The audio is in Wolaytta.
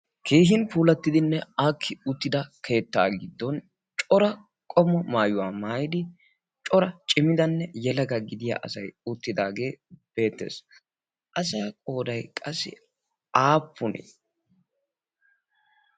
keehin puulattidinne akki uttida keettaa giddon cora qomo maayuwaa maayidi cora cimidanne yelaga gidiya asay uttidaagee beettees asa qoodat qassi aappuni